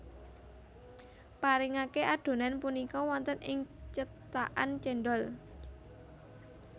Paringake adhonan punika wonten ing cetakan cendhol